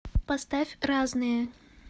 поставь разные